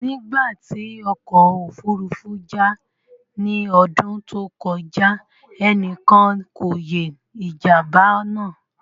Nígbà tí ọkọ̀ òfurufú já ní ọdún tó kọjá, ẹnìkan kò ye ìjàm̀bá náà.